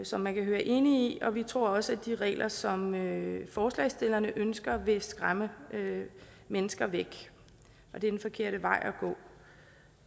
som man kan høre enige i og vi tror også at de regler som forslagsstillerne ønsker vil skræmme mennesker væk og det er den forkerte vej